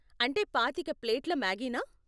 అంటే పాతిక ప్లేట్ల మాగీనా?